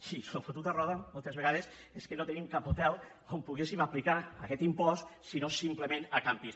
sí el que és fotut a roda moltes vegades és que no tenim cap hotel on poguéssim aplicar aquest impost sinó simplement a càmpings